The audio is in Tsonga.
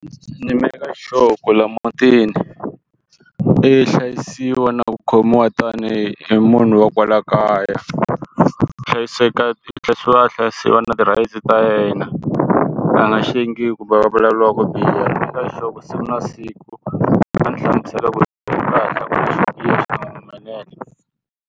Ni make sure ku laha mutini i hlayisiwa na ku khomiwa tanihi munhu wa kwala kaya i hlayiseka i hlayisiwa hlayisiwa va na ti-rights ta yena va nga ku va a vulavuriwa ku biha ni maker sure siku na siku va ni hlamusela swi nga humelela.